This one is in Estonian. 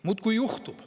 Muudkui juhtub.